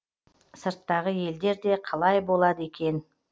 сырттағы елдер де қалай болады екен